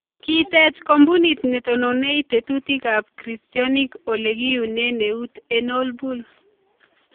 Kiteech koombunit netononen teetutiikaab kristyonik okle kiyuneen eut en olbul